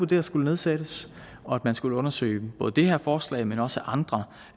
der skulle nedsættes en og at man skulle undersøge både det her forslag men også andre